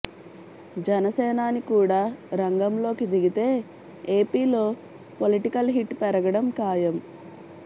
జనసేనాని కూడా రంగంలోకి దిగితే ఏపీలో పొలిటికల్ హీట్ పెరగడం ఖాయం